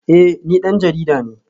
Eh ni dan jarida ne